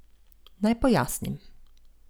Naj pojasnim.